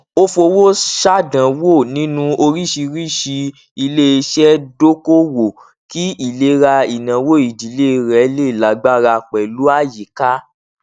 ó fowó ṣàdánwò nínú oríṣìíríṣìí iléiṣẹ dokoowó kí ìlera ináwó ìdílé rẹ lè lágbára pẹlú àyíká